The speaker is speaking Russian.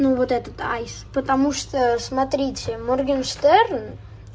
ну вот этот аист потому что смотрите моргенштерн